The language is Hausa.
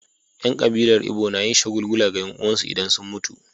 Yan kabilar Igbo na yin shagulgula ga 'yan uwansu idan sun mutu.